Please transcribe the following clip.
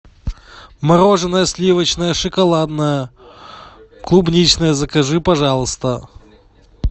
мороженое сливочное шоколадное клубничное закажи пожалуйста